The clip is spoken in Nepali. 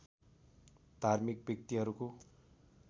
धार्मिक व्यक्तिहरूको